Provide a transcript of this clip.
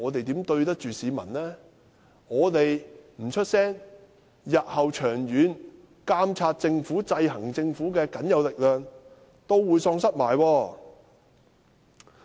如果我們不發聲，監察和制衡政府的僅有力量日後亦會喪失。